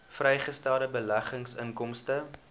vrygestelde beleggingsinkomste